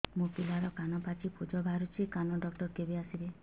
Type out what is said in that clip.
ମୋ ପିଲାର କାନ ପାଚି ପୂଜ ବାହାରୁଚି କାନ ଡକ୍ଟର କେବେ ଆସିବେ